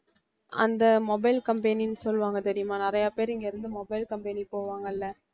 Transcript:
அந்த mobile company ன்னு சொல்லுவாங்க தெரியுமா நிறைய பேரு இங்க இருந்து mobile company போவாங்கல்ல